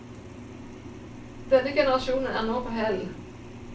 Denne generasjonen er nå på hell.